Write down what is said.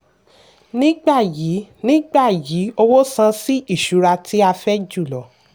nígbà yìí nígbà yìí owó san sí ìṣura tí a fẹ́ jùlọ.